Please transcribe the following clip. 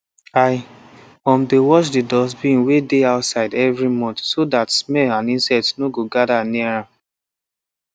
i um dey wash the dustbin wey dey outside every month so that smell and insect no go gather near am